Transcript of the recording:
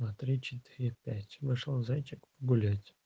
два три четыре пять вышел зайчик погулять